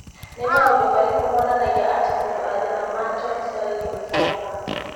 Nĩ maũndũ marĩkũ monanagia atĩ mũndũ arĩ na Mantle cell lymphoma?